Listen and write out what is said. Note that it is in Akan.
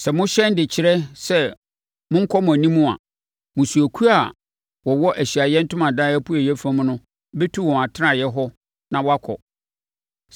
Sɛ mohyɛn de kyerɛ sɛ monkɔ mo anim a, mmusuakuo a wɔwɔ Ahyiaeɛ Ntomadan apueeɛ fam no bɛtu wɔn atenaeɛ hɔ na wɔakɔ.